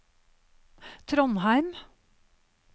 Trondheim